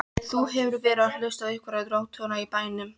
Þú hefur verið að hlusta á einhverjar rógtungur í bænum!